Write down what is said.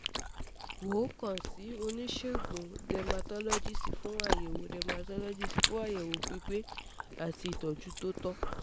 wọ́n kan si um onisegun um dermatologist fun ayẹwo dermatologist fun ayẹwo pipe ati um itọju to tọ